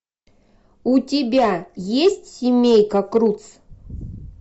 у тебя есть семейка крудс